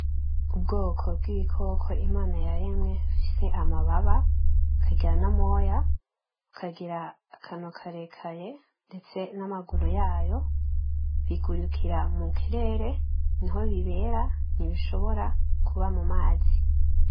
Ubwoko bw'ibikoko Imana yaremye, bifise amababa, bikagira n'amoya, bikagira akanwa karekare, ndetse n'amaguru yayo, bigurukira mu kirere, niho bibera, ntibishobora kuba mu mazi.